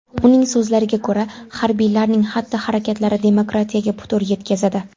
Uning so‘zlariga ko‘ra, harbiylarning xatti-harakatlari demokratiyaga putur yetkazadi.